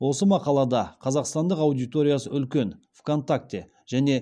осы мақалада қазақстандағы аудиториясы үлкен вконтакте және